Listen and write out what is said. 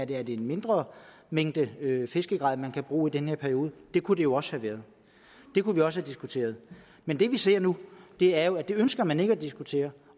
det er en mindre mængde fiskegrej man kan bruge i den her periode det kunne det jo også have været det kunne vi også have diskuteret men det vi ser nu er jo at det ønsker man ikke at diskutere